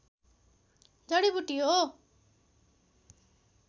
जडीबुटी हो